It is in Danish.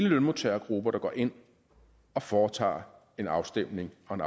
lønmodtagergrupper der går ind og foretager en afstemning om